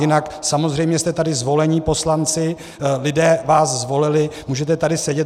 Jinak samozřejmě jste tady zvolení poslanci, lidé vás zvolili, můžete tady sedět.